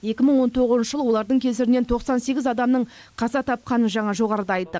екі мың он тоғызыншы жылы олардың кесірінен тоқсан сегіз адамның қаза тапқанын жаңа жоғарыда айттық